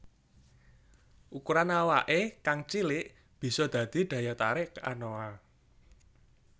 Ukuran awake kang cilik bisa dadi daya tarik anoa